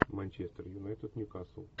манчестер юнайтед ньюкасл